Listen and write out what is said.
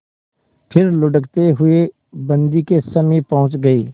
फिर लुढ़कते हुए बन्दी के समीप पहुंच गई